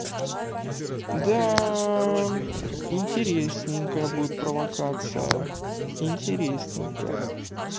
да интересненькое будет провокация интересненько